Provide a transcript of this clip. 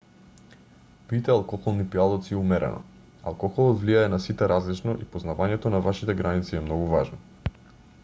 пијте алкохолни пијалаци умерено алкохолот влијае на сите различно и познавањето на вашите граници е многу важно